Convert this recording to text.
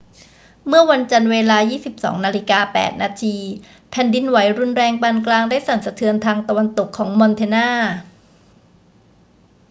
เมื่อวันจันทร์ เวลา 22.08 น แผ่นดินไหวรุนแรงปานกลางได้สั่นสะเทือนทางตะวันตกของมอนแทนา